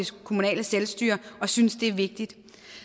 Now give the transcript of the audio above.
kommunale selvstyre og synes det er vigtigt